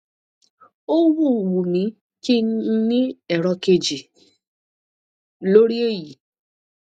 ó wù wù mí kí n ní èrò kejì lórí èyí